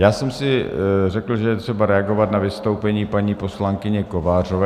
Já jsem si řekl, že je třeba reagovat na vystoupení paní poslankyně Kovářové.